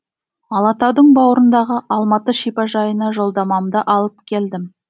алатаудың бауырындағы алматы шипажайына жолдамамды алып келдім